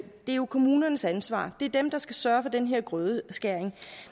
det jo er kommunernes ansvar det er dem der skal sørge for den her grødeskæring